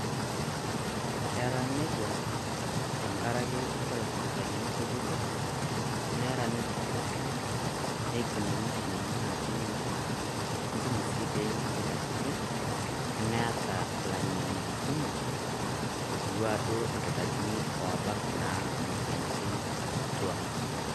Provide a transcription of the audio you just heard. kera nejiaa tenkaraki kore sipitalini kutitik nera ninje kutitik nakunyi mashinini natii ninje netum sii nkulie katitin, nemeta lang'eni kumo,k otiuoo duoo enaa kitarini obaak naa moyiaritin kituak